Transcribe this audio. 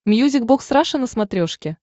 мьюзик бокс раша на смотрешке